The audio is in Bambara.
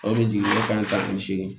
O de jiginnen kan tan ni seegin